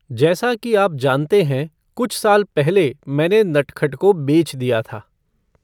जैसा कि आप जानते हैं, कुछ साल पहले मैंने नटखट को बेच दिया था।